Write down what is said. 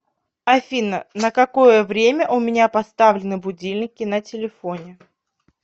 афина на какое время у меня поставлены будильники на телефоне